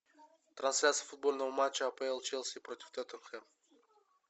трансляция футбольного матча апл челси против тоттенхэм